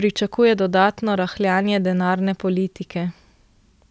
pričakuje dodatno rahljanje denarne politike.